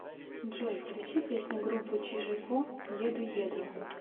джой включи песню группы чиж и ко еду еду